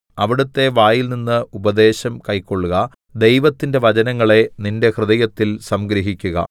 അവിടുത്തെ വായിൽനിന്ന് ഉപദേശം കൈക്കൊൾക ദൈവത്തിന്റെ വചനങ്ങളെ നിന്റെ ഹൃദയത്തിൽ സംഗ്രഹിക്കുക